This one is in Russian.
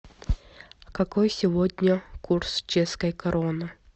какой сегодня курс чешской кроны